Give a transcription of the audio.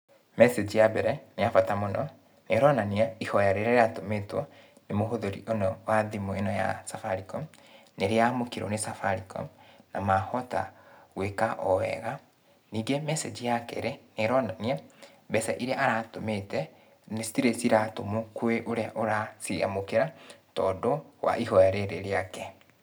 Message ya mbere nĩ ya bata mũno. Nĩ ĩronania ihoya rĩrĩa rĩratũmĩtwo nĩ mũhũthĩri wa thimũ ĩno ya Safaricom nĩ rĩamũkĩrwo nĩ Safaricom na mahota gwĩka o wega. Ningĩ message ya kerĩ nĩ ĩronania mbeca ĩrĩa aratũmĩte citirĩ ciratũmwo kwĩ ũrĩa ũraciamũkĩra, tondũ wa ihoya rĩrĩ rĩake.